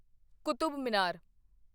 Qutub Minar